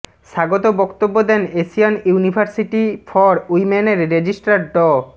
স্বাগত বক্তব্য দেন এশিয়ান ইউনিভার্সিটি ফর উইম্যানের রেজিস্ট্রার ড